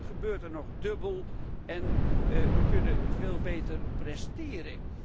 Te veel gebeurt er nog dubbel en wij kunnen veel beter presteren.